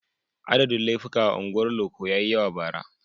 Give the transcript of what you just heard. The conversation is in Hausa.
Adadin laifuka a unguwar loko ya yi yawa bara.